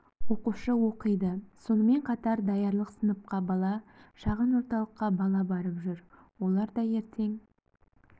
оқушы оқиды сонымен қатар даярлық сыныпқа бала шағын орталыққа бала барып жүр олар да ертең